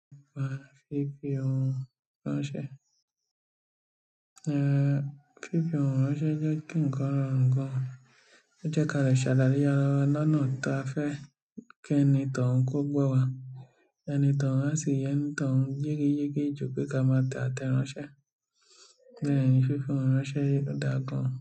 Pa fífi ohun ránṣẹ́. Eh, fífi ohun ránṣẹ́ jẹ́ kí ńkan rọrùn gan. Ó jẹ́ kí a lè ṣàlàyé ára lọ́nà ta fẹ́ kí ẹni tó ń kó gbọ́ wa, ẹni tó ń ránsì ẹni tó ń jíìgì yégé ju pé ká má tẹ́ ẹ ránṣẹ́. Bẹ́ẹ̀ni fífi ohùn ránṣẹ́ o da gán.